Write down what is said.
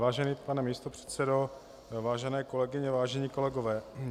Vážený pane místopředsedo, vážené kolegyně, vážení kolegové.